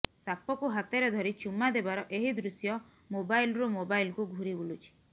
ସାପକୁ ହାତରେ ଧରି ଚୁମା ଦେବାର ଏହି ଦୃଶ୍ୟ ମୋବାଇଲରୁ ମୋବାଇଲକୁ ଘୁରି ବୁଲୁଛି